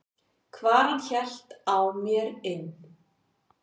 hvar hann hélt á mer inn.